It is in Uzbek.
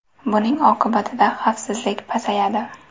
Buning oqibatida xavfsizlik pasayadi.